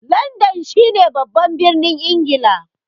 Landan shi ne babban birnin Ingila